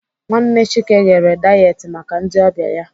Nwanne Chike ghere dayet maka ndị ọbịa ya.